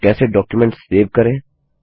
और कैसे document save करें